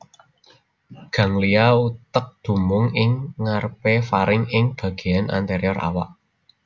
Ganglia utek dumunung ing ngarepé faring ing bagéyan anterior awak